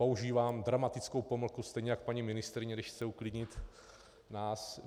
Používám dramatickou pomlku stejně jako paní ministryně, když chce uklidnit nás.